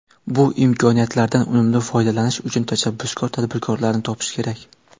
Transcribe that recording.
Bu imkoniyatlardan unumli foydalanish uchun tashabbuskor tadbirkorlarni topish kerak.